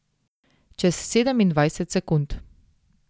Čez sedemindvajset sekund.